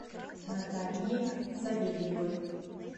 наталией савельевой